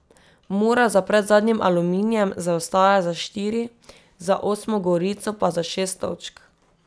Mura za predzadnjim Aluminijem zaostaja za štiri, za osmo Gorico pa za šest točk.